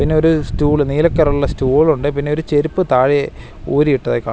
പിന്നെ ഒരു സ്റ്റൂള് നീല കളർ ഉള്ള സ്റ്റൂൾ ഉണ്ട് പിന്നെ ഒരു ചെരുപ്പ് താഴെ ഊരിയിട്ടതായി കാണാം.